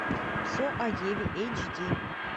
все о еве эйч ди